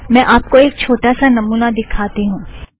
मैं आप को एक छोटा सा नमुना दिखाती हूँ